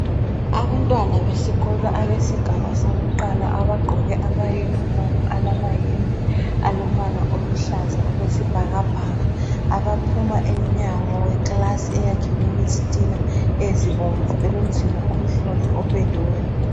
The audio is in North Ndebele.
Abantwana besikolo abesigaba sakuqala, abagqoke ama yunifomi alamayembe alombala oluhlaza okwesibhakabhaka ,abaphuma emnyango wekilasi eyakhiwe ngezitina ezibomvu elomzila omhlophe opendiweyo.